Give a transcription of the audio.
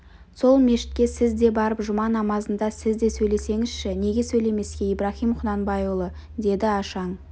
сол мешітке сіз де барып жұма намазында сіз де сөйлесеңізші неге сөйлемеске ибраһим құнанбайұлы деді ашаң